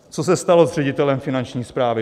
Co se stalo s ředitelem Finanční správy?